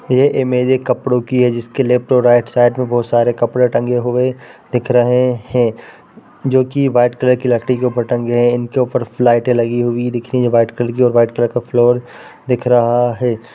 यह इमेज एक कपड़ो की है जिसके लेफ्ट और राइट साइड में बहुत सारे कपड़े टंगे हुए दिख रहे हैं जो की वाइट कलर की लकड़ी के ऊपर टंगे हैं| इनके ऊपर फलाईटे लगी हुई दिख रही जो की वाइट कलर की वाइट कलर का फ्लोर दिख रहा है।